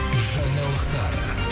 жаңалықтар